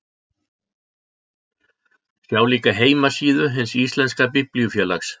Sjá líka heimasíðu Hins íslenska biblíufélags.